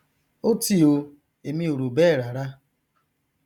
ótì o èmi ò rò bẹẹ rara